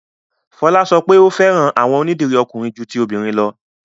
Fọla sọ pé o fẹ́ran awọn onídírí ọ̀kùnrin jù tí obìnrin lọ̀.